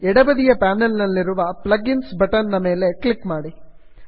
ಎಡಬದಿಯ ಪ್ಯಾನಲ್ ನಲ್ಲಿರುವ plug ins button ಮೇಲೆ ಕ್ಲಿಕ್ ಮಾಡಿ